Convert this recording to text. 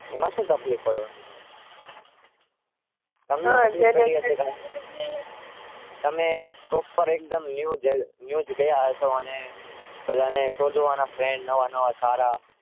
શું તકલીફ પાડવાની?